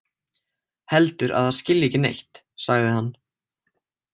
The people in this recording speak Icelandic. Heldur að það skilji ekki neitt, sagði hann.